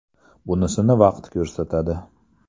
Bunisini vaqt ko‘rsatadi.